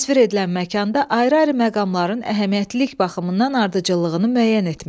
Təsvir edilən məkanda ayrı-ayrı məqamların əhəmiyyətlilik baxımından ardıcıllığını müəyyən etmək.